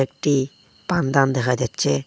টি পান দান দেখা যাচ্ছে।